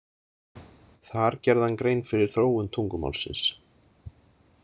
Þar gerði hann grein fyrir þróun tungumálsins.